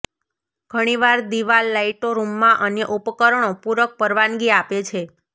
ઘણીવાર દીવાલ લાઇટો રૂમમાં અન્ય ઉપકરણો પૂરક પરવાનગી આપે છે